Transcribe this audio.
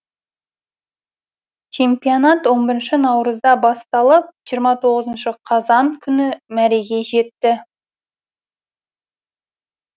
чемпионат он бірінші наурызда басталып жиырма тоғызыншы қазан күні мәреге жетті